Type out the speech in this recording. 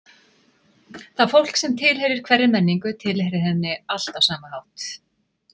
Það fólk sem tilheyrir hverri menningu, tilheyrir henni allt á sama hátt.